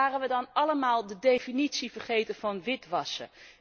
En waren we dan allemaal de definitie vergeten van witwassen?